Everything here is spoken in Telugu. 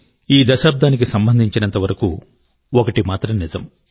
ఈ దశాబ్దానికి సంబంధించినంత వరకు ఒకటి మాత్రం నిజం